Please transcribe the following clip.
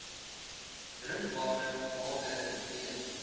drinkbare water b